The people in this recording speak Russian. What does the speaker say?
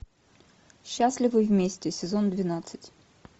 счастливы вместе сезон двенадцать